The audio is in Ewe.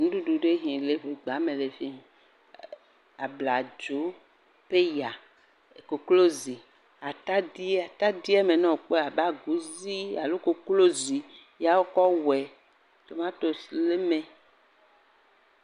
Nuɖuɖu ɖe ke le fi le agba me fie, abladzo, peya, koklozi, atadi, atadi me ne èkpɔe abe aguzii, alo koklozi ye wokɔ wɔe. Tomatos le mee.